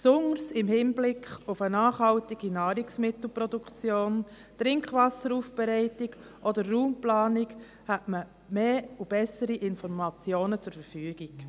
Besonders im Hinblick auf eine nachhaltige Nahrungsmittelproduktion, die Trinkwasseraufbereitung oder die Raumplanung hätte man mehr und bessere Informationen zur Verfügung.